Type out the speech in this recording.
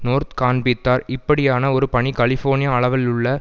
North காண்பித்தார் இப்படியான ஒரு பணி கலிபோர்னியா அளவுள்ள